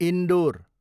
indoor